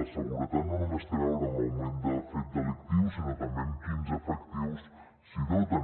és a dir la seguretat no només té a veure amb l’augment del fet delictiu sinó també amb quins efectius es doten